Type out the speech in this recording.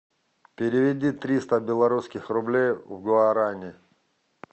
переведи триста белорусских рублей в гуарани